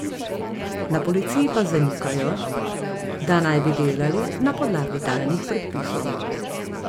Na policiji pa zanikajo, da naj bi delali na podlagi tajnih predpisov.